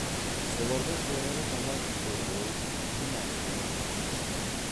солардан жоғары таман ербол жұмағұлдар орналасты